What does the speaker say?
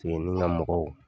Kungolola mɔgɔw